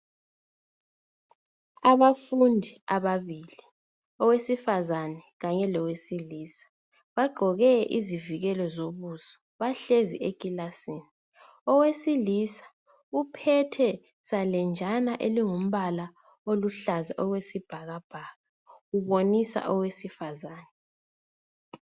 Abafundi ababili, owesifazana kanye lowesilisa. Bagqoke izivikele sobusa. Bahlezi ekilasini . Owesilisi uphethe salenjana elingumbala oluhlaza okwesibhakabhaka ubonisa owesifazana.